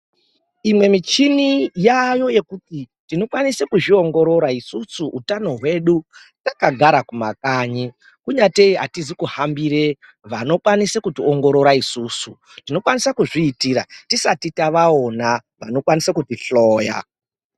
Imwe michini yaayo yekuti tinokwanise kuzviongorora isusu utano hwedu takagara kumakanyi kunyatee atizi kuhambire vanokwanisa kuti ongorora isusu tinokwanise kuzviitira tisati tavaona vanokwanise kutihloya.